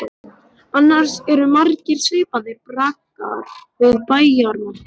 Annars eru margir svipaðir braggar við bæjarmörkin.